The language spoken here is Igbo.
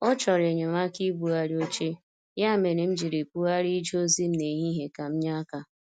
Ọ chọrọ enyemaka ibugharị oche, ya mere m jiri bugharịa ije ozi m n' ehihie ka m nye aka.